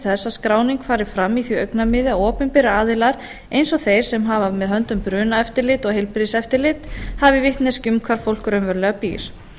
að skráning fari fram í því augnamiði að opinberir aðilar eins og þeir sem hafa með höndum brunaeftirlit og heilbrigðiseftirlit hafi vitneskju um hvar fólk raunverulega byr